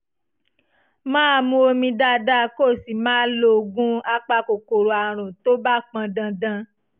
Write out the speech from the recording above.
máa mu omi dáadáa kó o sì máa lo oògùn apakòkòrò àrùn tó bá pọn dandan